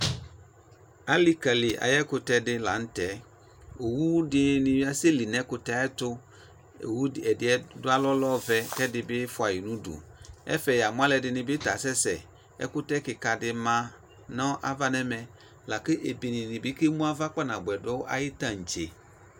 Alikali aye ɛkutɛ dr lantɛ Owu dene asɛ li nɛ ɛkutɛ ayeto Owu ɛdeɛ do alɔ lɛ ɔvɛ kɛ ɛde be fua ye no udu Ɛfɛ ya mu alɛde ne ta asɛsɛ Ɛkutɛ kika de ma no ava nɛmɛ la ke ɛde be kemu ava kpanaboɛ do aye tantse